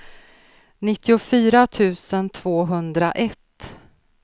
nittiofyra tusen tvåhundraett